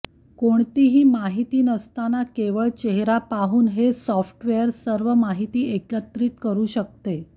कोणतीही माहिती नसताना केवळ चेहरा पाहून हे सॉफ्टवेअर सर्व माहिती एकत्रित करू शकते